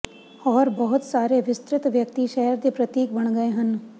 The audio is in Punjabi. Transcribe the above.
ਹੋਰ ਬਹੁਤ ਸਾਰੇ ਵਿਸਤ੍ਰਿਤ ਵਿਅਕਤੀ ਸ਼ਹਿਰ ਦੇ ਪ੍ਰਤੀਕ ਬਣ ਗਏ ਹਨ